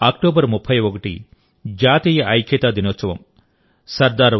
రేపు అక్టోబర్ 31 జాతీయ ఐక్యతా దినోత్సవం